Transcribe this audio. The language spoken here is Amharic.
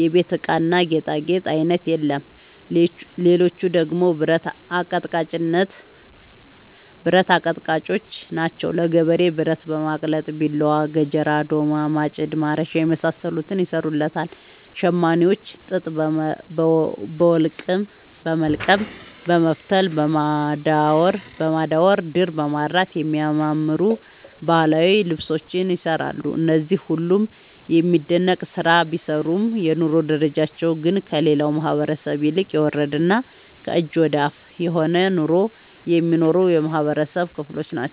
የቤት እቃና ጌጣጌጥ አይነት የለም ሌቹ ደግሞ ብረት አቀጥቃጭጮች ናቸው። ለገበሬው ብረት በማቅለጥ ቢላዋ፣ ገጀራ፣ ዶማ፣ ማጭድ፣ ማረሻ የመሳሰሉትን ይሰሩለታል። ሸማኔዎች ጥጥ በወልቀም በመፍተል፣ በማዳወር፣ ድር በማድራት የሚያማምሩ ባህላዊ ልብሶችን ይሰራሉ። እነዚህ ሁሉም የሚደነቅ ስራ ቢሰሩም የኑሮ ደረጃቸው ግን ከሌላው ማህበረሰብ ይልቅ የወረደና ከእጅ ወዳፍ የሆነ ኑሮ የሚኖሩ የማህበረሰብ ክሎች ናቸው።